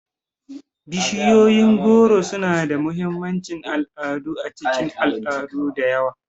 Bishiyoyin goro suna da mahimmancin al'adu a cikin al'adu da yawa.